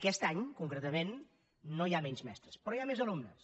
aquest any concretament no hi ha menys mestres però hi ha més alumnes